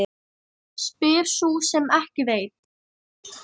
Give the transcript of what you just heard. Spyr sú sem ekki veit.